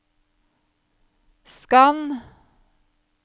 skann